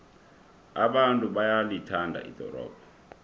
abantu bayalithanda ldorobho